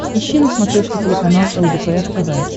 ищи на смотрешке телеканал лдпр тв